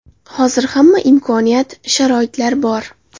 Hozir hamma imkoniyat, sharoitlar bor.